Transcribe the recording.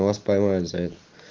но вас поймают за это